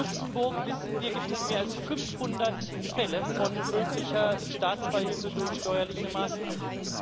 Allein aus Luxemburg, wissen wir, gibt es mehr als 5000 Fälle von möglicher Staatsbeihilfe durch steuerliche Maßnahmen.